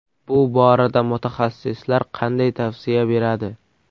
Bu borada mutaxassislar qanday tavsiya beradi?